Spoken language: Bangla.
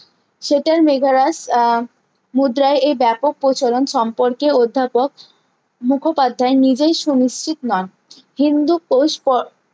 মেঘারাজ আহ মুদ্রায় এই ব্যাপক প্রসারণ সম্পর্কে অধ্যাপক মুখোপাধ্যায় নিজেই সুনিচ্ছিত নন হিন্দুকোশ প